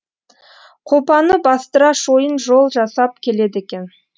қопаны бастыра шойын жол жасап келеді екен